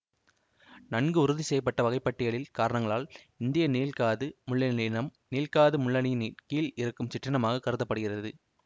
நன்கு உறுதி செய்ய பட்ட வகைப்பாட்டியியல் காரணங்களால் இந்திய நீள்காது முள்ளெலி இனம் நீள்காது முள்ளெனியின் கீழ் இருக்கும் சிற்றினமாகக் கருத படுகிறது